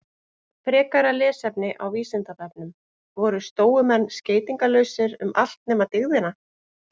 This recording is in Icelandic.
Frekara lesefni á Vísindavefnum: Voru stóumenn skeytingarlausir um allt nema dygðina?